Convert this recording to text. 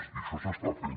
i això s’està fent